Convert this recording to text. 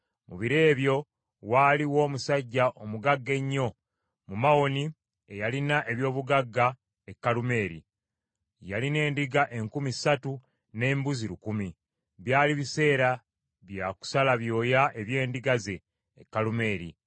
Mu biro ebyo waaliwo omusajja omugagga ennyo mu Mawoni eyalina eby’obugagga e Kalumeeri. Yalina endiga enkumi ssatu n’embuzi lukumi. Byali biseera bya kusala byoya eby’endiga ze, e Kalumeeri.